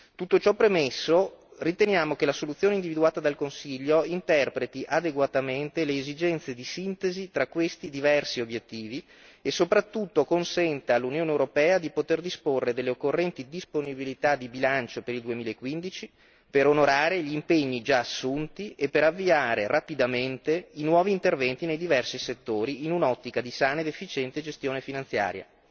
Tutto ciò premesso, riteniamo che la soluzione individuata dal Consiglio interpreti adeguatamente le esigenze di sintesi tra questi diversi obiettivi, e soprattutto consenta all'Unione europea di poter disporre delle occorrenti disponibilità di bilancio per il 2015, per onorare gli impegni già assunti e per avviare rapidamente i nuovi interventi nei diversi settori in un'ottica di sana ed efficiente gestione finanziaria.